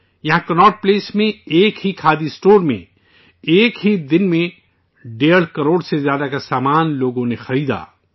یہاں کناٹ پلیس میں، ایک ہی کھادی اسٹور میں، ایک ہی دن میں، ڈیڑھ کروڑ روپے سے زیادہ کا سامان لوگوں نے خریدا